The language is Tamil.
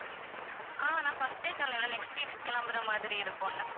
ஆஹ் நான் first ஏ சொன்னேன் இல்ல next week கெளம்புற மாதிரி இருக்கும்